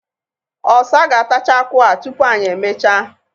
ọsa ga-atacha akwu a tụpu anyị emechaa.